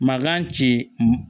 Makan ci